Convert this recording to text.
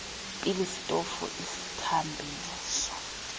pilisi sitofu isithambiso